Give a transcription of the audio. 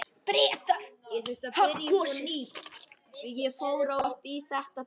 Bretar hafa kosið.